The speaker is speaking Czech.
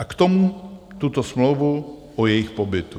A k tomu tuto smlouvu o jejich pobytu.